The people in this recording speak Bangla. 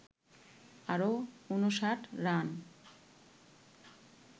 আরো ৫৯ রান